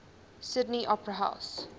sydney opera house